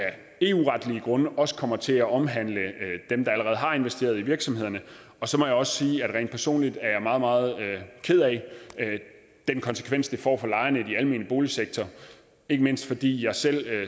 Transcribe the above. eu retlige grunde også kommer til at omhandle dem der allerede har investeret i virksomhederne og så må jeg også sige at jeg rent personligt er meget meget ked af den konsekvens det får for lejerne i den almene boligsektor ikke mindst fordi jeg selv